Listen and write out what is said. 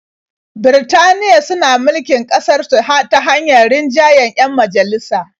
Birtaniya suna mulkin ƙasarsu ta hanyar rinjayen 'yan majalisa.